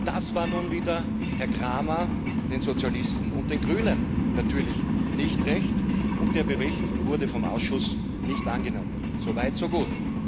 Das war nun wieder Herrn Cramer, den Sozialisten und den Grünen natürlich nicht recht, und der Bericht wurde vom Ausschuss nicht angenommen so weit, so gut.